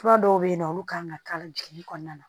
Fura dɔw bɛ yen nɔ olu kan ka k'a la dugu kɔnɔna na